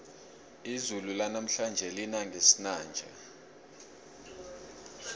izulu lanamhlanje lina ngesinanja